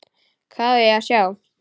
Hvað á ég að sjá?